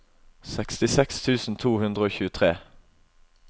sekstiseks tusen to hundre og tjuetre